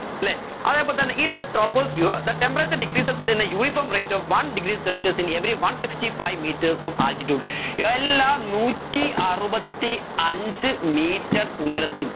അല്ലെ അതേപോലെ തന്നെ in the troposphere the temperature decreases in the uniform rate of one degree celsius in every one sixty five meters of altitude എല്ലാ നൂറ്റി അറുപത്തി അഞ്ച്‌ metre ഉയരത്തിനും